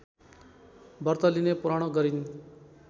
व्रत लिने प्रण गरिन्